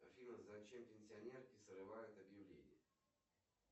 афина зачем пенсионерки срывают объявления